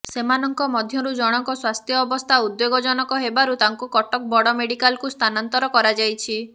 ସେମାନଙ୍କ ମଧ୍ୟରୁ ଜଣଙ୍କ ସ୍ୱାସ୍ଥ୍ୟ ଅବସ୍ଥା ଉଦ୍ବେଗଜନକ ହେବାରୁ ତାଙ୍କୁ କଟକ ବଡ଼ ମେଡ଼ିକାଲକୁ ସ୍ଥାନାନ୍ତର କରାଯାଇଛି